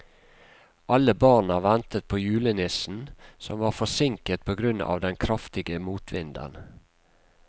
Alle barna ventet på julenissen, som var forsinket på grunn av den kraftige motvinden.